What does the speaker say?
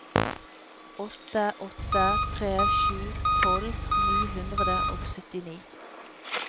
åtte åtte tre sju tolv ni hundre og syttini